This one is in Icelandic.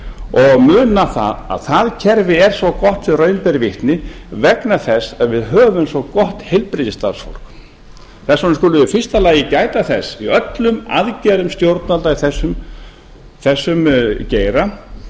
og muna að það kerfi er svo gott sem raun ber vitni vegna þess að við höfum svo gott heilbrigðisstarfsfólk þess vegna skulum við í fyrsta lagi gæta þess í öllum aðgerðum stjórnvalda í þessum geira